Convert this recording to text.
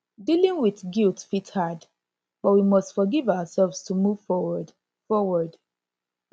dealing with guilt fit hard but we must forgive ourselves to move forward forward